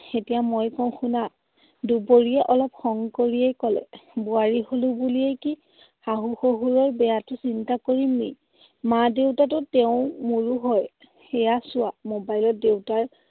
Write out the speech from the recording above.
এতিয়া মই কওঁ শুনা। দুবৰিয়ে অলপ খং কৰিয়ে কলে। বোৱাৰী হলো বুলিয়েই কি শাহু শহুৰৰ বেয়াতো চিন্তা কৰিম নেকি? মা দেউতাতো তেওঁ মোৰো হয়। সেইয়া চোৱা, mobile ত দেউতাৰ